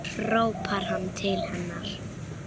hrópar hann til hennar.